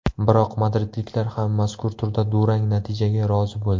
Biroq madridliklar ham mazkur turda durang natijaga rozi bo‘ldi.